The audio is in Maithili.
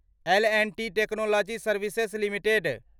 L and T Technology Services limited